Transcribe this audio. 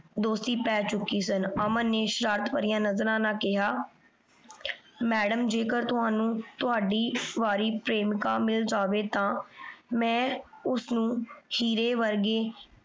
ਦੋਸਤੀ ਪੈ ਚੁਕੀ ਸਨ। ਅਮਨ ਨੇ ਸ਼ਰਾਰਤ ਭਾਰਿਯਾਂ ਨਜ਼ਰਾਂ ਨਾਲ ਕੇਹਾ ਮੈਡਮ ਜੀ ਜੇਕਰ ਤੁਹਾਨੂੰ ਤੁਹਾਡੀ ਵਾਰੀ ਪ੍ਰੇਮਿਕਾ ਮਿਲ ਜਾਵੇ ਤਾਂ ਮੈਂ ਓਸਨੂ ਹੀਰੇ ਵਰਗੇ